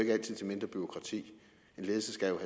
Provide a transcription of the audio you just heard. til mindre bureaukrati en ledelse skal jo